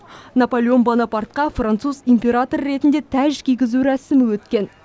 наполеон бонапартқа француз императоры ретінде тәж кигізу рәсімі өткен